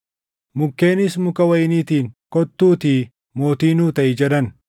“Mukkeenis muka wayiniitiin, ‘Kottuutii mootii nuu taʼi’ jedhan.